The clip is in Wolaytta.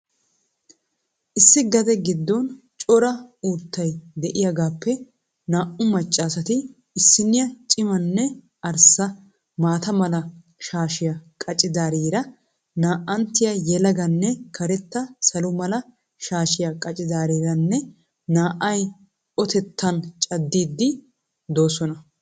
Issi gade gidoon cora uttay de'iyaagaappe naa'u maccaasati issiniya cimanne arssa mata mala shaashiyaa qaccidaariira na'anttiya yelaganne karetta salo mala shaashiya qaccidaariira naa'ay otettaan caddidi doosona.